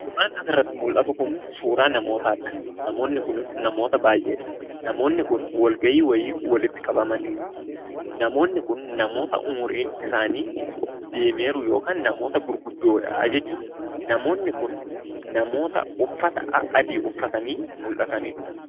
Suuraan asirratti mul'atu kun suuraa namootaadha. Namoonni kunis namoota baay'eedha. Namoonni kun walgahii wayii walitti qabamanii jiru. Namoonni kun namoota umriin isaanii deemee jiru yookiin namoota gurguddoodha jechuudha. Namoonni kun namoota uffata adaadii uffatanii mul'atanidha.